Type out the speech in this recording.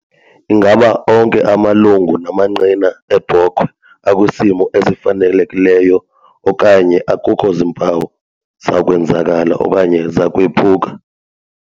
Ingaba onke amalungu amanqina ebhokhwe akwisimo efanelekileyo, okt. akukho zimpawu zakwenzakala okanye zakwephuka?